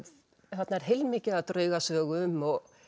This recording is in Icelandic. þarna er heilmikið af draugasögum og